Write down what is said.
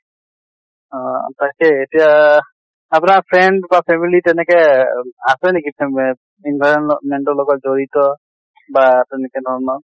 অ তাকে এতিয়া আপোনাৰ friend বা family তেনেকে আছে নেকি ফেমে environment ৰ লগত জড়িত বা তেনেকে ধৰণৰ ?